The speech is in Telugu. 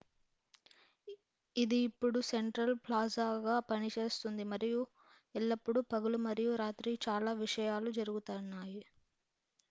ఇది ఇప్పుడు సెంట్రల్ ప్లాజాగా పనిచేస్తుంది మరియు ఎల్లప్పుడూ పగలు మరియు రాత్రి చాలా విషయాలు జరుగుతున్నాయి